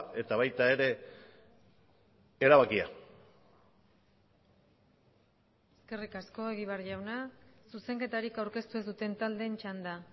eta baita ere erabakia eskerrik asko egibar jauna zuzenketarik aurkeztu ez duten taldeen txanda